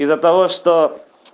из-за того что